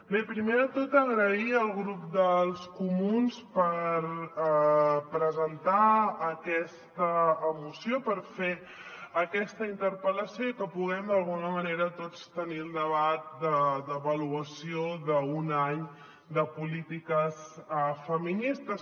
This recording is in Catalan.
bé primer de tot donar les gràcies al grup dels comuns perquè han presentat aquesta moció perquè van fer aquesta interpel·lació i que puguem d’alguna manera tots tenir un debat d’avaluació d’un any de polítiques feministes